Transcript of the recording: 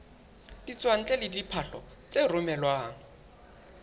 ditswantle le diphahlo tse romelwang